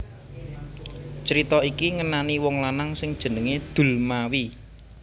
Crita iki ngenani wong lanang sing jenengé Dulmawi